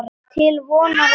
Til vonar og vara.